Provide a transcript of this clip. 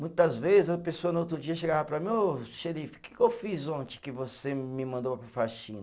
Muitas vezes, a pessoa no outro dia chegava para mim, ô xerife, o que que eu fiz ontem que você me mandou para a faxina?